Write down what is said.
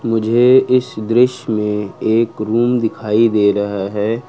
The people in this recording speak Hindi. मुझे इस दृश्य में एक रूम दिखाई दे रहा है।